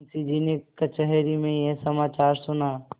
मुंशीजी ने कचहरी में यह समाचार सुना